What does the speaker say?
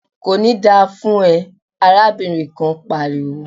"Kò ní da fún ẹ!" arábìnrin kan pariwo.